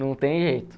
Não tem jeito.